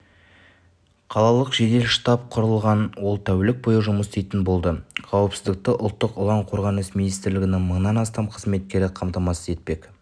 қалалық жедел штаб құрылған ол тәулік бойы жұмыс істейтін болады қауіпсіздікті ұлттық ұлан қорғаныс министрлігінің мыңнан астам қызметкері қамтамасыз етпек